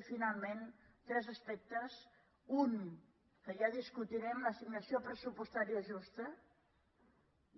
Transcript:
i finalment tres aspectes un que ja discutirem l’assignació pressupostària justa